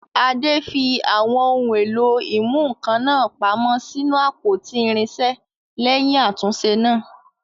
Ade fi àwọn ohun èlò ìmúnǹkan náà pamọ́ sínú àpótí irinṣẹ́ lẹ́yìn àtúnṣe náà.